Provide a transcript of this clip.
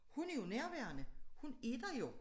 Hun er jo nærværende hun er der jo